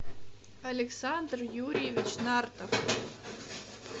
александр юрьевич нартов